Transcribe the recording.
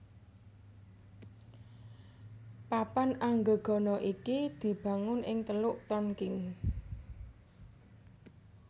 Papan Anggegana iki dibangun ing Teluk Tonkin